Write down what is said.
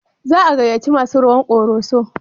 Za a gayyaci masu rawan Koroso?